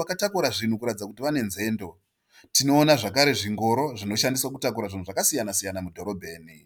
vakatakura zvinhu kuratidza kuti vane nzendo. Tinoona zvingoro zvinoshandiswa kutakura zvinhu zvakasiyana-siyana mudhorobheni.